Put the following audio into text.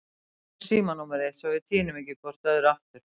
Gefðu mér símanúmerið þitt svo við týnum ekki hvort öðru aftur.